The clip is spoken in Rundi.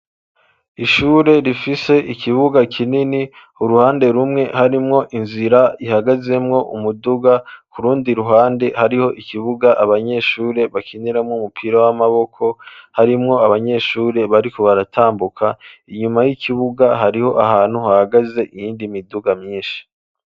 Ishure rifise ikibuga kinini, uruhande rumwe harimwo inzira ihagazemwo umuduga, ku rundi ruhande hariho ikibuga abanyeshure bakiniramwo umupira w'amaboko, harimwo abanyeshure bariko baratambuka, inyuma y'ikibuga hariho ahantu hahagaze iyindi miduga myinshi.